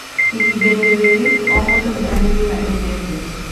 Ihinda-inĩ rĩrĩ, o mũndũ nĩ arĩ wĩra endete.